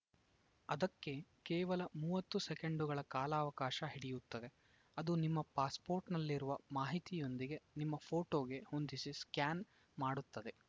ಅದಕ್ಕೆ ಕೇವಲ ಮೂವತ್ತು ಸೆಕೆಂಡ್‌ಗಳ ಕಾಲಾವಕಾಶ ಹಿಡಿಯುತ್ತದೆ ಅದು ನಿಮ್ಮ ಪಾಸ್‌ಪೋರ್ಟ್‌ನಲ್ಲಿರುವ ಮಾಹಿತಿಯೊಂದಿಗೆ ನಿಮ್ಮ ಫೋಟೋಗೆ ಹೊಂದಿಸಿ ಸ್ಕಾನ್‌ ಮಾಡುತ್ತದೆ